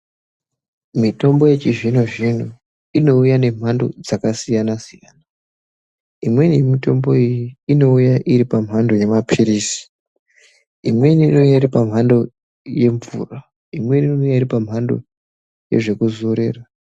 Miyombo yechizvino zvino inouya nempando dzakasiyana siyana imweni yemitombo iyi inouya iti pamhando yemapilizi imweni inouya iri pamhando yemvura imweni inouya iri pamhando yezvekuzorera.